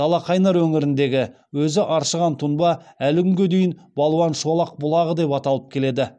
далақайнар өңіріндегі өзі аршыған тұнба әлі күнге дейін балуан шолақ бұлағы деп аталып келеді